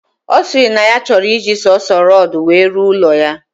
Osiri na ya choro iji sonso rodu we ruo ulo ya.